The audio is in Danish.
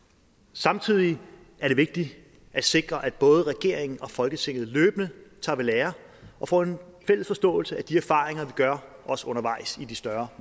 samtidig er det vigtigt at sikre at både regeringen og folketinget løbende tager ved lære og får en fælles forståelse af de erfaringer vi gør os undervejs i de større